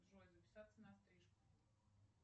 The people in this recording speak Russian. джой записаться на стрижку